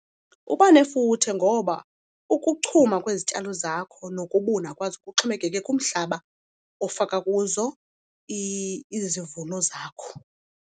Kuba nefuthe ngoba ukuchuma kwezityalo zakho nokubuna kwazo kuxhomekeke kumhlaba ofaka kuzo izivuno zakho.